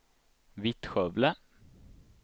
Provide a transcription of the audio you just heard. Vittskövle